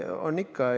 On ikka.